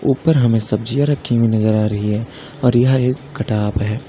ऊपर हमें सब्जियां रखी हुई नजर आ रही है और यह एक कटाप है।